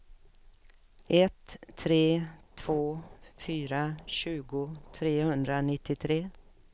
ett tre två fyra tjugo trehundranittiotre